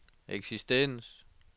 eksistens